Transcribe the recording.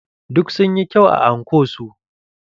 Duk sun yi kyau a anko su.